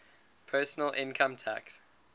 personal income tax